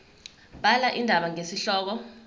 bhala indaba ngesihloko